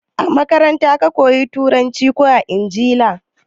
A makaranta ka koya Turanci ko a Ingila?